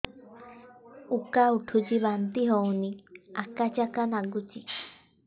ଉକା ଉଠୁଚି ବାନ୍ତି ହଉନି ଆକାଚାକା ନାଗୁଚି